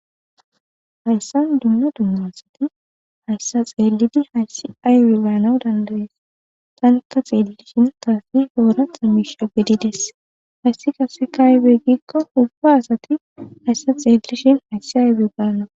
Hayisa dumma dumma asati hayssa xeellidi hayssi aywe baanaw dandayees tanikka xeelishin taasi hoora xa misha gedides hayssi qase kaaybe gikko hubba asati hayssa xeeishin hayssi aybe gana